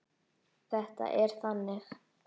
Þetta er þannig.